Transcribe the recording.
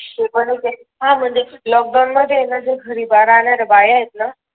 ते पण च आहे हाहा म्हणजे लोकडवून मध्ये आहे ना ज्या घरी राहणाऱ्या बाया आहेत ना